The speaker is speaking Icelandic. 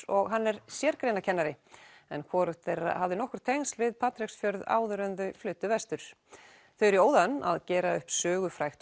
og hann er sérgreinakennari en hvorugt þeirra hafði tengsl við Patreksfjörð áður en þau fluttu þau eru í óðaönn að gera upp sögufrægt